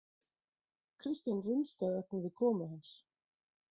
Christian rumskaði ögn við komu hans.